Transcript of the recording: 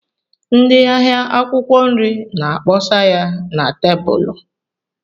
Ndị ahịa akwụkwọ nri na-akpọsa ya na tebụlụ.